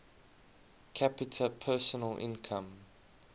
capita personal income